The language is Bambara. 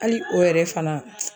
Hali o yɛrɛ fana